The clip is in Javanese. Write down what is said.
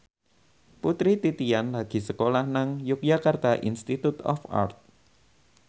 Putri Titian lagi sekolah nang Yogyakarta Institute of Art